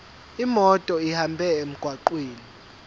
imoto ihambe emgwaqweni